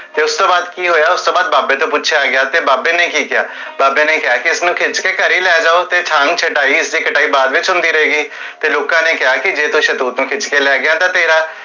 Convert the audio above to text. ਤੇ ਉਸ ਤੋਂ ਬਾਦ ਕੀ ਹੋਇਆ? ਉਸ ਤੋਂ ਬਾਦ ਬਾਬੇ ਤੋਂ ਪੁਛਿਆ ਗਿਆ ਤੇ ਬਾਬੇ ਨੇ ਕੀ ਕੇਹਾ? ਬਾਬੇ ਨੇ ਕੇਹਾ ਕੀ ਉਸਨੁ ਖਿਚ ਕੇ ਘਰੇ ਲੈ ਜਾਓ, ਤੇ